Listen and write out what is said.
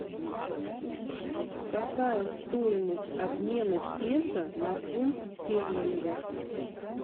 какая стоимость обмена песо на фунт стерлингов